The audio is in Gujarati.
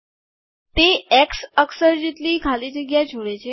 તે એક્સ અક્ષર જેટલી ખાલી જગ્યા છોડે છે